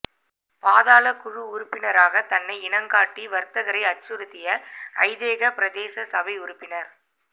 பாதாளக் குழு உறுப்பினராக தன்னை இனங்காட்டி வர்த்தகரை அச்சுறுத்திய ஐதேக பிரதேச சபை உறுப்பினர்